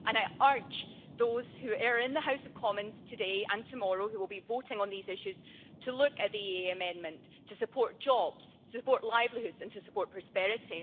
I urge those who are in the House of Commons today and tomorrow and who will be voting on these issues to look at the EEA amendment to support jobs, support livelihoods and to support prosperity.